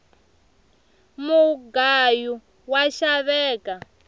mugayu wa xaveka